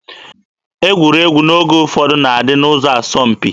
Egwuregwu n'oge ụfọdụ na-adị n'ụdị asọmpi.